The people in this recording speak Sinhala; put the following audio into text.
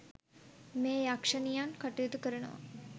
මේ යක්ෂණියන් කටයුතු කරනවා.